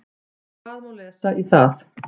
Hvað má lesa í það?